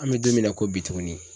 An be don min na ko bi tuguni